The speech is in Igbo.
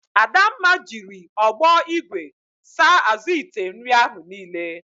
Adamma jiri ọgbọ igwe saa azụ ite nri ahụ niile.